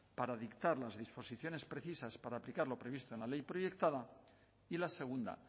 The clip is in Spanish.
para dictar las disposiciones precisas para aplicar lo previsto en la ley proyectada y la segunda